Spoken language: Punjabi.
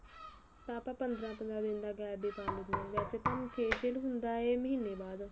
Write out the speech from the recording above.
ਤਾਂ ਆਪਨ ਪੰਦਰਾਂ ਪੰਦਰਾਂ ਦਿਨ ਦਾ gap ਵੀ ਪਾ ਲੈਣੇ ਆ ਵੈਸੇ ਤਾਂ facial ਵੀ ਹੁੰਦਾ ਏ ਮਹੀਨੇ ਬਾਅਦ